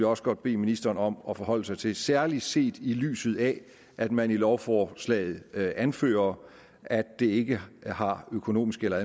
også godt bede ministeren om at forhold sig til særlig set i lyset af at man i lovforslaget anfører at det ikke har økonomiske eller